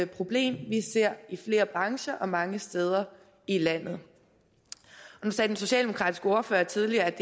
problem vi ser i flere brancher og mange steder i landet nu sagde den socialdemokratiske ordfører tidligere at